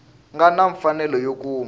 nga na mfanelo yo kuma